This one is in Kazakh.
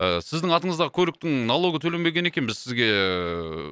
ы сіздің атындағы көліктің налогы төленбеген екен біз сізге ыыы